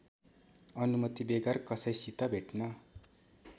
अनुमतिबेगर कसैसित भेट्न